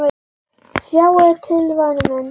Sjáðu til væna mín.